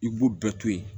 I b'u bɛɛ to yen